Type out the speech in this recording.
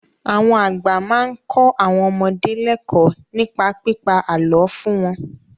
Àwọn àgbà máa ń kọ́ àwọn ọmọdé lẹ́kọ̀ọ́ nípa pípa àlọ́ fún wọn.